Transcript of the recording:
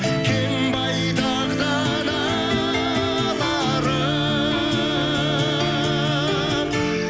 кең байтақ даналарым